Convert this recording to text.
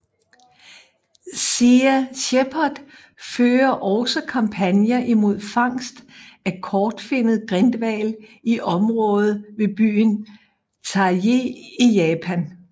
Sea Shepherd fører også kampagner imod fangst af kortfinnet grindhval i området ved byen Taiji i Japan